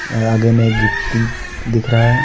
यहाँ आगे में गिट्टी दिख रहा है।